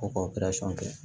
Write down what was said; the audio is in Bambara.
Ko k'o kɛ